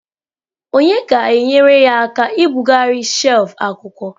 Onye ga-enyere ya aka ibugharị shelf akwụkwọ?